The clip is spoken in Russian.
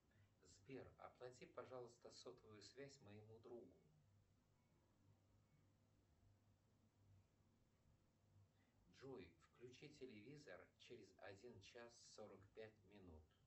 сбер оплати пожалуйста сотовую связь моему другу джой включи телевизор через один час сорок пять минут